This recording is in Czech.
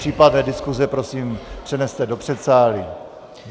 Případné diskuse, prosím přeneste do předsálí.